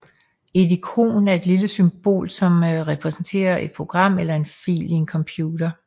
Et ikon er et lille symbol som repræsenterer et program eller en fil i en computer